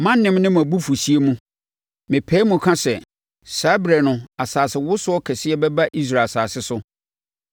Mʼanem ne mʼabufuhyeɛ mu, mepae mu ka sɛ, saa ɛberɛ no asasewosoɔ kɛseɛ bɛba Israel asase so.